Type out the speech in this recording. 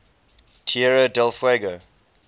tierra del fuego